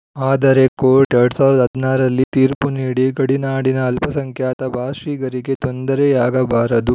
ಆದರೆ ಕೋರ್ಟ್‌ ಎರಡ್ ಸಾವಿರದ ಹದಿನಾರು ರಲ್ಲಿ ತೀರ್ಪು ನೀಡಿ ಗಡಿನಾಡಿನ ಅಲ್ಪಸಂಖ್ಯಾತ ಭಾಷಿಗರಿಗೆ ತೊಂದರೆಯಾಗಬಾರದು